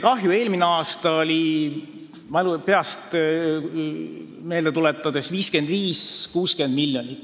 Kahju oli eelmisel aastal peast meelde tuletades 55–60 miljonit.